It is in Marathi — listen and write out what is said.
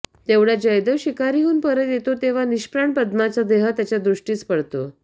तेवढ्यात जयदेव शिकारीहून परत येतो तेव्हा निष्प्राण पद्माचा देह त्याच्या दृष्टीस पडतो